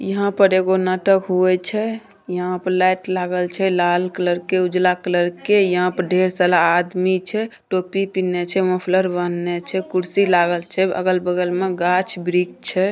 यहाँ पर एगो नाटक हुए छै। यहां पर लाइट लागल छै लाल कलर के उजला कलर के । यहाँ पर ढेर साला आदमी छै। टोपी पीनने छैछे मफलर बांधने छै। कुर्सी लागल छै अगल-बगल मे गाछ-वृक्ष छै।